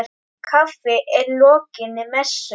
Kaffi að lokinni messu.